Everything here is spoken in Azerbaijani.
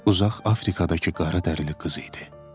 uzaq Afrikadakı qaradərili qız idi.